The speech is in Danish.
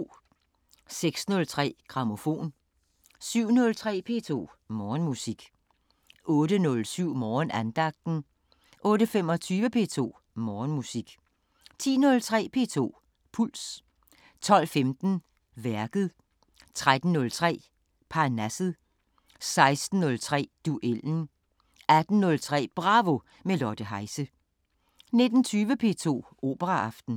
06:03: Grammofon 07:03: P2 Morgenmusik 08:07: Morgenandagten 08:25: P2 Morgenmusik 10:03: P2 Puls 12:15: Værket 13:03: Parnasset 16:03: Duellen 18:03: Bravo – med Lotte Heise 19:20: P2 Operaaften